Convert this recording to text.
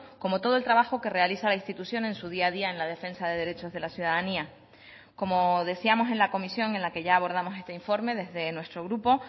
como todo el trabajo que realiza la institución en su día a día en la defensa de derechos de la ciudadanía como decíamos en la comisión en la que ya abordamos este informe desde nuestro grupo